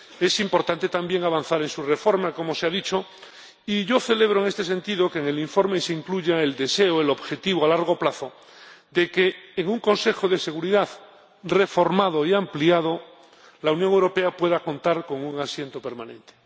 Es importante también avanzar en su reforma —como se ha dicho— y yo celebro, en este sentido, que en el informe se incluya el deseo, el objetivo a largo plazo, de que, en un Consejo de Seguridad reformado y ampliado, la Unión Europea pueda contar con un asiento permanente.